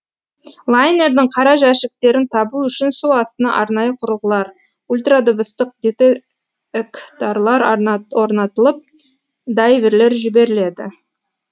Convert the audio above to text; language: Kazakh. лайнердің қара жәшіктерін табу үшін су астына арнайы құрылғылар ультрадыбыстық детек торлар орнатылып дайверлер жіберілді